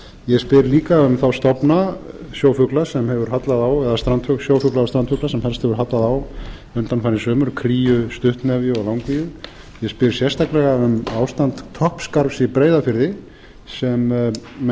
ég spyr líka um þá stofna sjófugla sem hefur hallað á eða sjófugla og strandfugla sem helst hefur hallað á undanfarin sumur kríu stuttnefju og langvíu ég spyr sérstaklega um ástand toppskarfs í breiðafirði sem menn